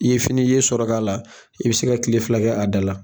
I ye fini i ye sɔrɔ k'a la, i bɛ se ka tile fila kɛ a da la.